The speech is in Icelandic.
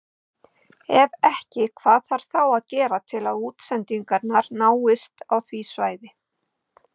Ef ekki hvað þarf þá að gera til að útsendingar náist á því svæði?